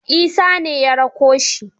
Isa ne ya rako shi.